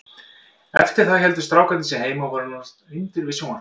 Eftir það héldu strákarnir sig heima og voru nánast límdir við sjónvarpið.